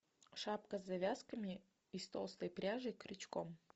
шапка с завязками из толстой пряжи крючком